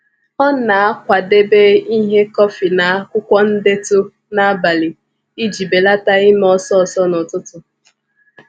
Ọ na-akwadebe ihe kọfị na akwụkwọ ndetu n'abalị iji belata ime ọsọ ọsọ n'ụtụtụ.